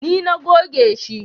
Ni na goge shi